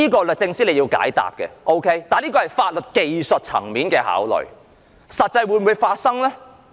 律政司須解答，這是法律技術層面的考慮，但實際上會否發生？